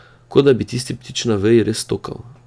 Kot da bi tisti ptič na veji res stokal.